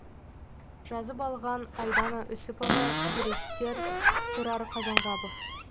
жазып алған айдана үсіпова суреттер тұрар қазанғапов